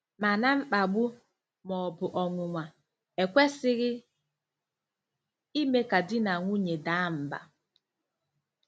Mana mkpagbu, ma ọ bụ ọnwụnwa, ekwesịghị ime ka di na nwunye daa mbà.